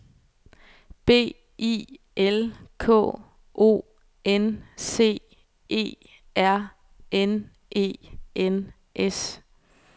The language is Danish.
B I L K O N C E R N E N S